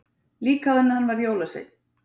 Líka áður en hann varð jólasveinn.